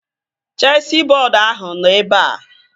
Chesị bọọdu ahụ nọ ebea